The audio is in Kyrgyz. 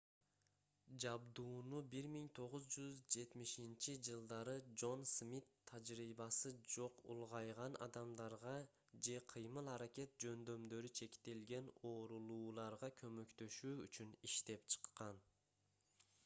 жабдууну 1970-жж джон смит тажрыйбасы жок улгайган адамдарга же кыймыл-аракет жөндөмдөрү чектелген оорулууларга көмөктөшүү үчүн иштеп чыккан